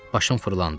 Başım fırlandı.